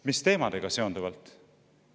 Mis teemadega seonduvalt?